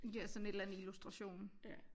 Ja sådan et eller andet illustration